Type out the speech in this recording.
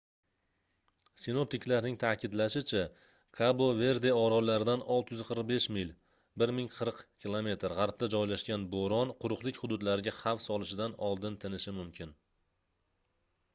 sinoptiklarning ta'kidlashicha kabo-verde orollaridan 645 mil 1040 km g'arbda joylashgan bo'ron quruqlik hududlariga xavf solishidan oldin tinishi mumkin